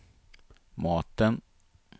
maten